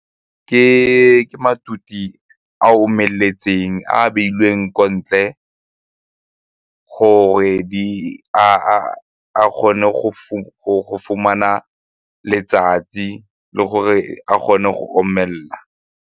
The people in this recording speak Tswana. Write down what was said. Ke maphutse a omeletseng a a beilweng ko ntle gore a kgone go fumana letsatsi le gore a kgone go omelela.